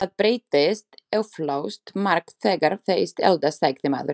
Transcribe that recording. Það breytist eflaust margt þegar þeir eldast, sagði maðurinn.